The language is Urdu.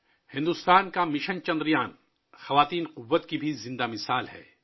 بھارت کا مشن چندریان بھی عورت کی قوت کی زندہ مثال ہے